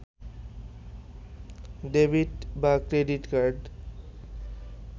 debit বা credit card